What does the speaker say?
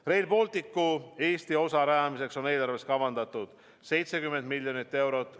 Rail Balticu Eesti osa rajamiseks on eelarves kavandatud 70 miljonit eurot.